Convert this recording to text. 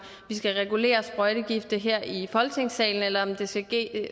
vi skal regulere brugen af sprøjtegifte her i folketingssalen eller om det skal ske